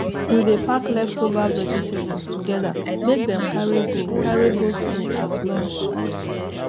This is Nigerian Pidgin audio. we dey pack leftover vegetables together make dem carry go carry go school as lunch